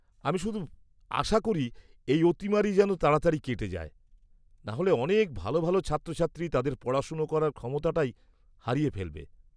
-আমি শুধু আশা করি এই অতিমারি যেন তাড়াতাড়ি কেটে যায় নাহলে অনেক ভালো ভালো ছাত্রছাত্রী তাদের পড়াশোনা করার ক্ষমতাটাই হারিয়ে ফেলবে।